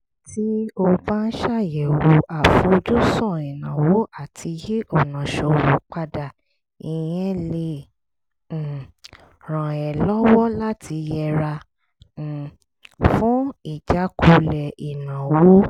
tí o bá ń ṣàyẹ̀wò àfojúsùn ìnáwó àti yí ọ̀nà ṣòwò padà ìyẹn lè um ràn ẹ́ lọ́wọ́ láti yẹra um fún ìjákulẹ̀ ìnáwó